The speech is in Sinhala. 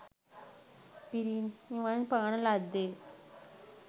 පිරිනිවන් පාන ලද්දේ